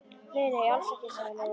Nei, nei, alls ekkert, sagði Lóa-Lóa.